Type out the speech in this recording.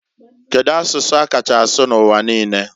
Kedu asụsụ a kacha asụ n'uwa niine?